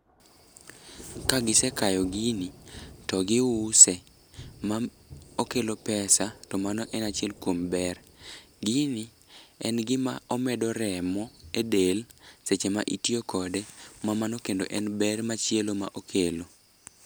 Kagisekayo gini to giuse ma okelo pesa to mano en achiel kuom ber. Gini en gima omedo remo e del seche ma itiyo kode ma mano kendo en ber machielo ma okelo.